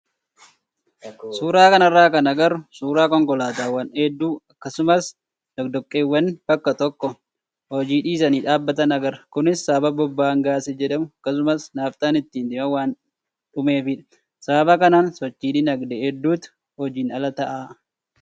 Suuraa kanarraa kan agarru suuraa konkolaataawwan hedduu akkasumas doqdoqqeewwanii bakka tokko hojii dhiisanii dhaabbatan agarra. Kunis sababa boba'aan gaazii jedhamu akkasumas naafxaan ittiin deeman waan dhumeefidha. Sababa kanaan sochii dinagdee hedduutu hojiin ala ta'a.